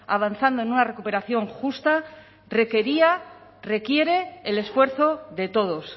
avanzando en una recuperación justa requería requiere el esfuerzo de todos